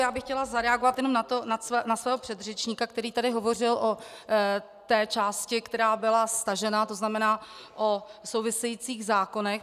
Já bych chtěla zareagovat jenom na svého předřečníka, který tady hovořil o té části, která byla stažena, to znamená o souvisejících zákonech.